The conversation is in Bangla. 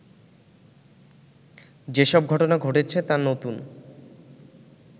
যেসব ঘটনা ঘটেছে তা নতুন